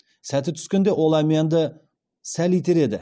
сәті түскенде ол әмиянды сәл итереді